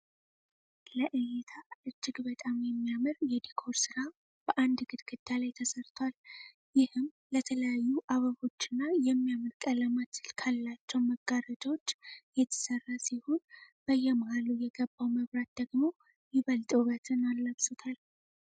ለእይታ እጅግ በጣም የሚያምር የዲኮር ስራ በአንድ ግድግዳ ላይ ተሰርቷል። ይህም ለተለያዩ አበቦች እና የሚያምር ቀለማት ካላቸው መጋረጃዎች የተሰራ ሲሆን በየመሃሉ የገባው መብራት ደግሞ ይበልጥ ዉበትን አላብሶታል።